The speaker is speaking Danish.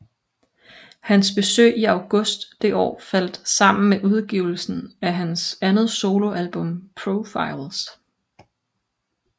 Hans besøg i august det år faldt sammen med udgivelsen af hans andet soloalbum Profiles